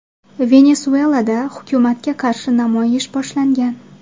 Venesuelada hukumatga qarshi namoyish boshlangan.